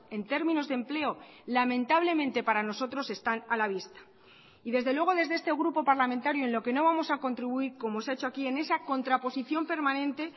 en términos de empleo lamentablemente para nosotros están a la vista y desde luego desde este grupo parlamentario en lo que no vamos a contribuir como se ha hecho aquí en esa contraposición permanente